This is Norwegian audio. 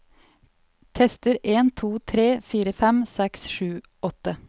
Tester en to tre fire fem seks sju åtte